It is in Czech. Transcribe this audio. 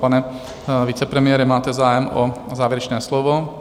Pane vicepremiére, máte zájem o závěrečné slovo?